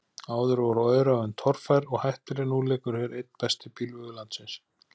Áður voru öræfin torfær og hættuleg, nú liggur hér einn besti bílvegur landsins.